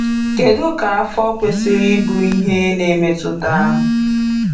Kedu ka afọ kwesịrị ịbụ ihe na-emetụta?